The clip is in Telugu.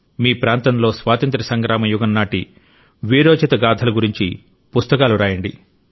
మీ ప్రాంతంలో స్వాతంత్య్ర సంగ్రామ యుగం నాటి వీరోచిత గాథల గురించి పుస్తకాలు రాయండి